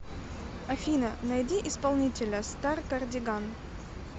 афина найди исполнителя старкардиган